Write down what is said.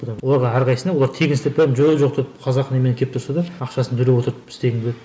оларға әрқайсына олар тегін істеп беріп жоқ жоқ деп қазақ неме кеп тұрса да ақшасын төлеп отырып істегім келеді